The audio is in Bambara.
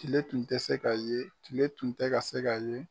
Tile tun tɛ se ka ye, tile tun tɛ ka se ka ye.